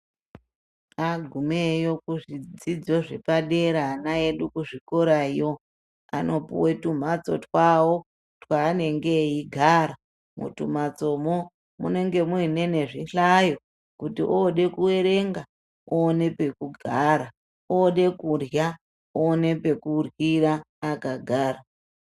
Agumewo kuzvidzidzo zvepadera ana edu kuzvikorayo, anopuwa twumhatso twawo twaanenge eigara, mutwu mhatsomwo munenge muinene zvihlayo, kuti ode kuerenga oone pekugara, ode kurya, oone pekuryira akagara.